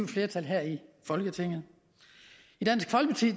flertal her i folketinget i dansk folkeparti